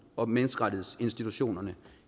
og menneskerettighedsinstitutionerne